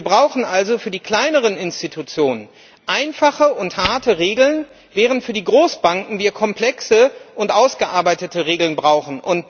Wir brauchen also für die kleineren Institutionen einfache und harte Regeln, während wir für die Großbanken komplexe und ausgearbeitete Regeln brauchen.